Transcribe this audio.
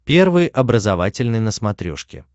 первый образовательный на смотрешке